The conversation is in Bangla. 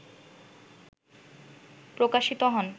প্রকাশিত হন